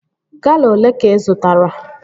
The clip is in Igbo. Gala olee ka ị zụtara?